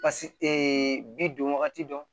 bi don wagati dɔn